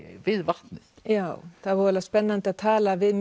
við vatnið já það er voðalega spennandi að tala við